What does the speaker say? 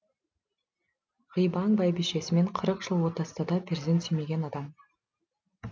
ғибаң бәйбішесімен қырық жыл отасса да перзент сүймеген адам